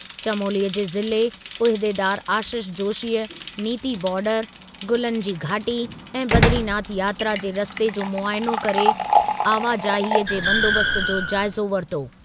चमोलीअ जे ज़िले उहिदेदारु आशीष जोशीअ नीति बार्डर, गुलनि जी घाटी ऐं बदरीनाथ यात्रा जे रस्ते जो मुआयनो करे आवाजाहीअ जे बंदोबस्तु जो जाइज़ो वरितो।